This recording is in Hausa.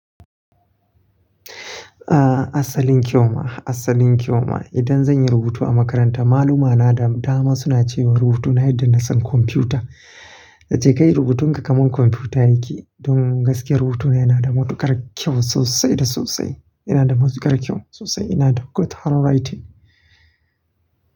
Ah, asalin kyau ma, asalin kyau ma. Idan zan yi rubutu a makaranta, malumana da dama suna cewa rubutuna yadda na san kwamfuta. "Yace kai rubutunka kamar kwamfuta yake." Don gaskiyar rubutuna yana da matukar kyau sosai da sosai. Yana da matukar kyau sosai. Ina da good handwriting.